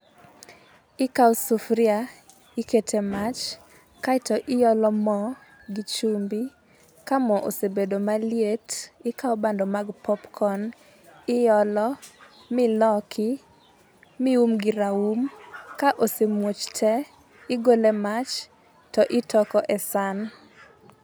Ikawo sufuria ikete mach, kaeto iolo moo gi chumbi, kaa moo osebedo maliet, ikawo bando mag popcorn iolo miloki mium gi raum ka osemuoch tee, igole mach to itoko e san.